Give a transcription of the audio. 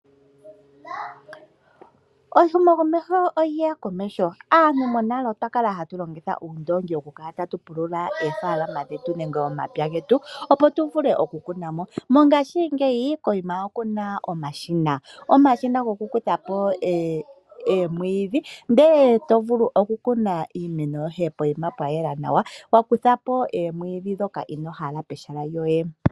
Ehumo komeho olyeya komeho, aantu monale twa kala hata longitha oondongi oku pulula oofalama dhetu nenge omapya getu, opo tu vule oku kunamo. Mongashingeyi koima okuna omashina goku kuthapo oomwidhi, eto vulu oku kuna iimeno yoye poima pwa yela nawa, wa kuthpo oomwidhi dhoka inohala pehala lyoye.